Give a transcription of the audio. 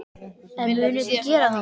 En munu þeir gera það?